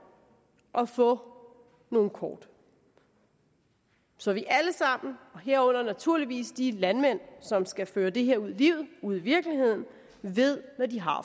at få nogle kort så vi alle sammen og naturligvis de landmænd som skal føre det her ud i livet ud i virkeligheden ved hvad de har